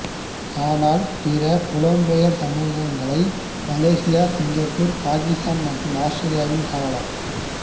ஆனால் பிற புலம்பெயர் சமூகங்களை மலேசியா சிங்கப்பூர் பாகிஸ்தான் மற்றும் ஆஸ்திரேலியாவிலும் காணலாம்